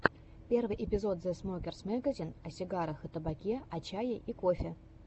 первый эпизод зэ смокерс мэгазин о сигарах и табаке о чае и кофе